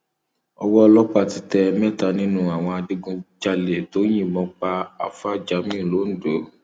owó ọlọpàá ti tẹ mẹta nínú àwọn adigunjalè tó yìnbọn pa àfàà jamiu londo